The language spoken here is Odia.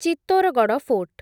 ଚିତ୍ତୋରଗଡ଼ ଫୋର୍ଟ୍